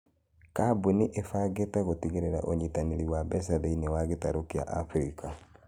Kambuni ĩbangite gutigirira unyitanĩri wa mbeca thĩinĩ wa gĩtarũ kia Abirika